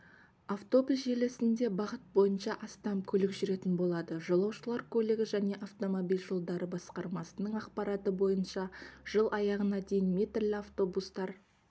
автобус желісінде бағыт бойынша астам көлік жүретін болады жолаушылар көлігі және автомобиль жолдары басқармасының ақпараты бойынша жыл аяғына дейін метрлі автобустар